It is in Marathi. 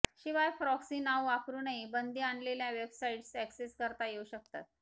शिवाय प्रॉक्सी नावं वापरूनही बंदी आणलेल्या वेबसाइट्स अॅक्सेस करता येऊ शकतात